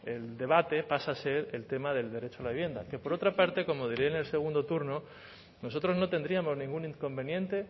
el debate pasa a ser el tema del derecho a la vivienda que por otra parte como diré en el segundo turno nosotros no tendríamos ningún inconveniente